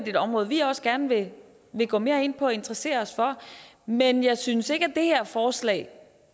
et område vi også gerne vil gå mere ind på og interessere os for men jeg synes ikke det her forslag